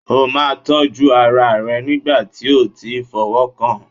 O máa tọ́jú ara rẹ nígbà tí o ti fọwọ́ kàn an.